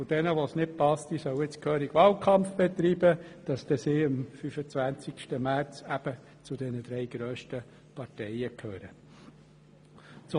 Diejenigen, welchen das nicht passt, sollen nun gehörig Wahlkampf betreiben, sodass sie am 25. März eben zu den drei grössten Parteien gehören werden.